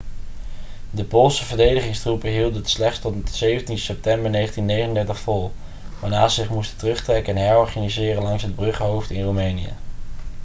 de poolse verdedigingstroepen hielden het slechts tot 17 september 1939 vol waarna ze zich moesten terugtrekken en herorganiseren langs het bruggenhoofd in roemenië